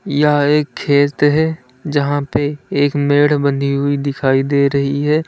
यह एक खेत है जहां पर एक मेड बंदी हुई दिखाई दे रही है।